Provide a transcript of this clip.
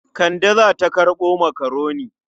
Kande za ta karɓo makaroni.